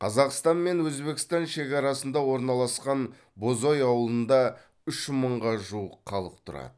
қазақстан мен өзбекстан шекарасында орналасқан бозой ауылында үш мыңға жуық халық тұрады